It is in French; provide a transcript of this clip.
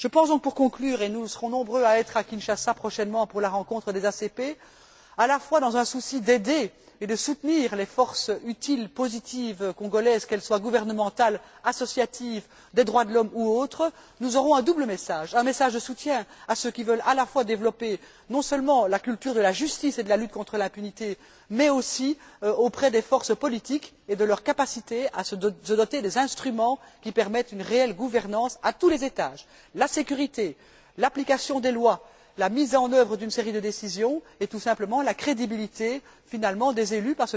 Je pense donc pour conclure et nous serons nombreux à Kinshasa prochainement pour la rencontre des ACP que dans un souci à la fois d'aider et de soutenir les forces utiles, positives congolaises, qu'elles soient gouvernementales, associatives, des droits de l'homme ou autres, nous aurons un double message un message de soutien à ceux qui veulent développer la culture de la justice et de la lutte contre l'impunité, mais aussi à l'égard des forces politiques et de leur capacité à se doter des instruments qui permettent une réelle gouvernance à tous les étages la sécurité, l'application des lois, la mise en œuvre d'une série de décisions, et tout simplement la crédibilité, finalement, des élus.